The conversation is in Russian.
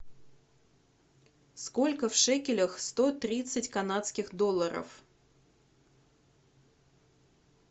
сколько в шекелях сто тридцать канадских долларов